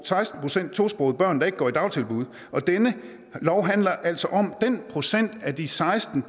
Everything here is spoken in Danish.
seksten procent tosprogede børn der ikke går i dagtilbud denne lov handler altså om den procent af de seksten